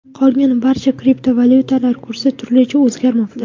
Qolgan barcha kriptovalyutalar kursi turlicha o‘zgarmoqda.